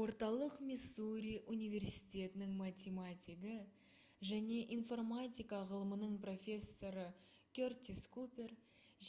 орталық миссури университетінің математигі және информатика ғылымының профессоры кертис купер